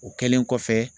O kɛlen kɔfɛ